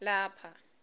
lapha